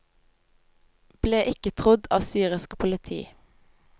Ble ikke trodd av syrisk politi.